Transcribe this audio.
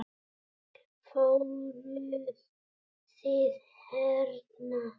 Fóruð þið hérna?